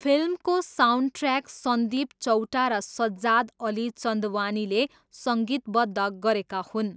फिल्मको साउन्डट्र्याक सन्दीप चौटा र सज्जाद अली चन्दवानीले सङ्गीतबद्ध गरेका हुन्।